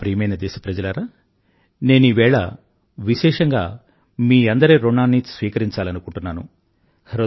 నా ప్రియమైన దేశప్రజలారా నేనీవేళ విశేషంగా మీ అందరి ఋణాన్నీ స్వీకరించాలనుకుంటున్నాను